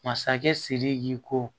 Masakɛ sidiki ko